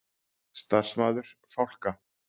Starfsmaður: Fálka?